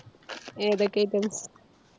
ഏതൊക്കെ items?